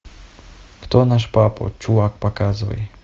кто наш папа чувак показывай